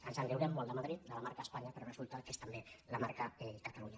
ens en riurem molt de madrid de la marca espanya però resulta que és també la marca catalunya